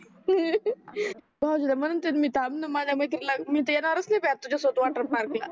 भाऊजीला म्हणते मी थामन माझ्या मैत्रिणीला मी तर येणारच नाही बाई तुझ्या सोबत वॉटर पार्क